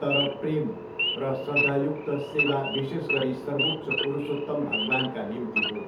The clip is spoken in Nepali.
तर प्रेम र श्रद्धयुक्त सेवा विशेष गरी सर्वोच्च पुरुषोत्तम भगवान्का निम्ति हो।